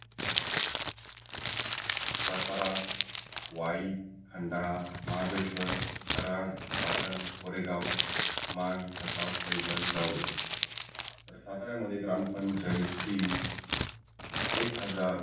सातारा, वाई, खंडाळा, हमाबळेश्वर, कराड, पाटन, कोरेगाव, मान, खटाव, फल्टन, जावळी तर सातारा मध्ये ग्रामपंचायती एक हजार